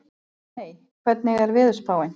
Hanney, hvernig er veðurspáin?